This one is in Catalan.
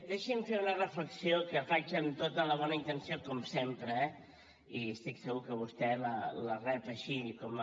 deixi’m fer una reflexió que faig amb tota la bona intenció com sempre eh i estic segur que vostè la rep així com a